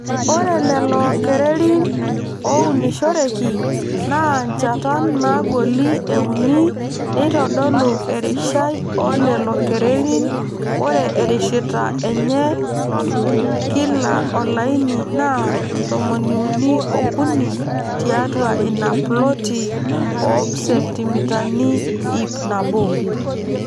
Ore lelo kererin oounishoreki naa nchatan naagoli euni neitodolu erishai oo lelo kererin ore ereshita enye kila olaini naa tomoniuni ookuni tiatua ina ploti oobsentimitani ipnabo.